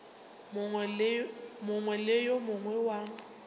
mongwe le yo mongwe wa